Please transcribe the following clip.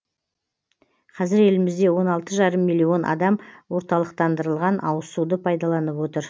қазір елімізде он алты жарым миллион адам орталықтандырылған ауызсуды пайдаланып отыр